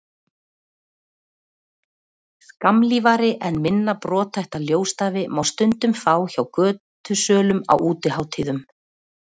skammlífari en minna brothætta ljósstafi má stundum fá hjá götusölum á útihátíðum